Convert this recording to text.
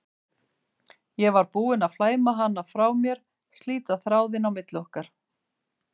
Ég var búin að flæma hana frá mér, slíta þráðinn á milli okkar.